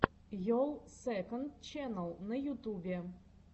йолл сэконд ченнал на ютубе